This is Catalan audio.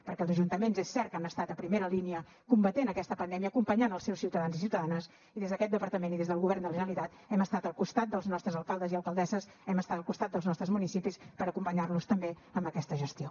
perquè els ajuntaments és cert que han estat a primera línia combatent aquesta pandèmia acompanyant els seus ciutadans i ciutadanes i des d’aquest departament i des del govern de la generalitat hem estat al costat dels nostres alcaldes i alcaldesses hem estat al costat dels nostres municipis per acompanyar los també en aquesta gestió